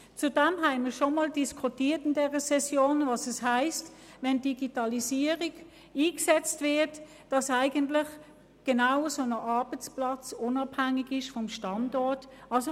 Zudem haben wir in dieser Session bereits einmal diskutiert, was es heisst, wenn durch den Einsatz der Digitalisierung eine Unabhängigkeit des Standorts entsteht.